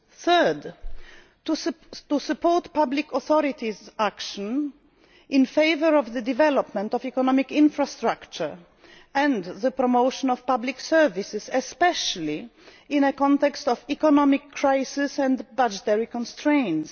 thirdly, to support public authorities' action in favour of the development of economic infrastructure and the promotion of public services, especially in a context of economic crisis and budgetary constraints